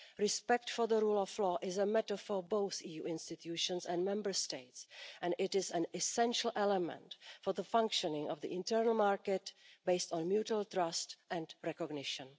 Respect for the rule of law is a matter for both EU institutions and Member States, and it is an essential element for the functioning of the internal market based on mutual trust and recognition.